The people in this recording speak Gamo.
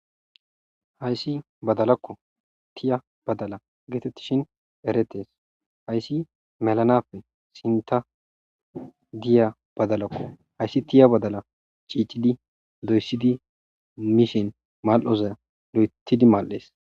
Hayssi badalakko ,tiya badala geetettishin eretees. Hayssi melanappe sinta diya badalakko. Hayssi tiya badala tsiitsidi doyisidi mishin mal'oza loyitidi maal'ees.